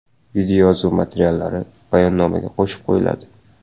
Videoyozuv materiallari bayonnomaga qo‘shib qo‘yiladi.